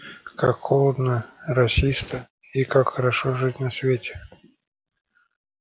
как холодно росисто и как хорошо жить на свете